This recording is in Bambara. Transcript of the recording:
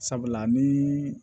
Sabula ni